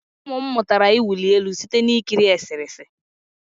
Ụmụ m mụtara ịwụli elu site na ikiri eserese